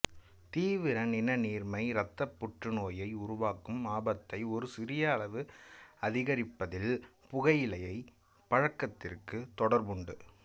தீவிர நிணநீர்மை இரத்தப் புற்றுநோயினை உருவாக்கும் ஆபத்தை ஒரு சிறிய அளவு அதிகரிப்பதில் புகையிலைப் பழக்கத்திற்கு தொடர்புண்டு